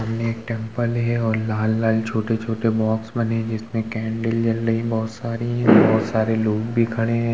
सामने एक टेम्पल है और लाल-लाल छोटे-छोटे बॉक्स बने हैं जिसमे कैंडल जली रही है बहोत सारी बहोत सारे लोग भी खड़े हैं।